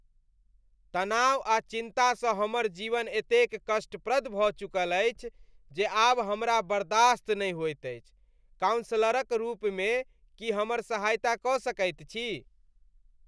तनाव आ चिन्ता सँ हमर जीवन एतेक कष्टप्रद भऽ चुकल छी जे आब हमरा बर्दाश्त नहि होइत अछि। कॉउंसलर क रूप में की हमर सहायता क सकैत छी ?